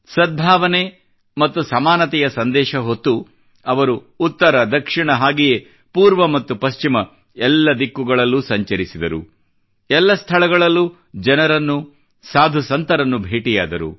ಸದ್ಭಾವನೆ ಮ್ತತು ಸಮಾನತೆಯ ಸಂದೇಶ ಹೊತ್ತು ಅವರು ಉತ್ತರ ದಕ್ಷಿಣ ಹಾಗೆಯೇ ಪೂರ್ವ ಮತ್ತು ಪಶ್ಚಿಮ ಎಲ್ಲ ದಿಕ್ಕುಗಳಲ್ಲೂ ಸಂಚರಿಸಿದರು ಎಲ್ಲ ಸ್ಥಳಗಳಲ್ಲೂ ಜನರನ್ನು ಸಾಧುಸಂತರನ್ನು ಭೇಟಿಯಾದರು